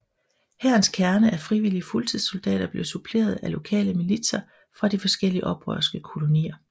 Hærens kerne af frivillige fuldtidssoldater blev suppleret af lokale militser fra de forskellige oprørske kolonier